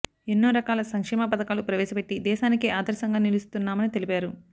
ఎన్నో రకాల సంక్షేమ పథకాలు ప్రవేశపెట్టి దేశానికే ఆదర్శంగా నిలుస్తున్నామని తెలిపారు